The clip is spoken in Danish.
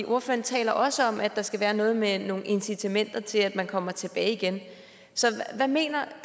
ordføreren taler også om at der skal være noget med nogle incitamenter til at man kommer tilbage igen hvad mener